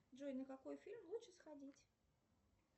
джой на какой фильм лучше сходить